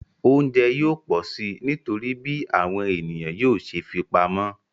Oúnjẹ yóò pọ̀ si nítorí bí àwọn ènìyàn yóò ṣe fipamọ́